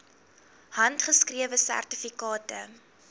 handgeskrewe sertifikate